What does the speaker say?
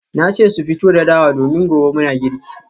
Na ce su fito da dawa domin gobe muna girki